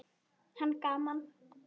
Hann: Gaman.